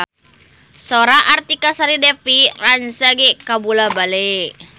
Sora Artika Sari Devi rancage kabula-bale